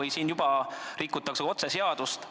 Ja nüüd juba rikuti otseselt seadust.